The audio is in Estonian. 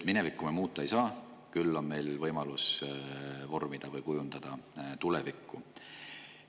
Minevikku me muuta ei saa, küll on meil võimalus kujundada tulevikku.